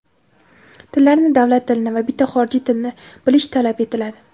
tillarni — davlat tilini va bitta xorijiy tilni bilish talab etiladi.